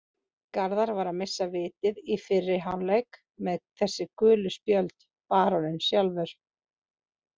Garðar var að missa vitið í fyrri hálfleik með þessi gulu spjöld, baróninn sjálfur.